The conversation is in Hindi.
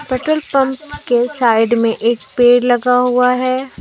पेट्रोल पंप के साइड में एक पेड़ लगा हुआ है।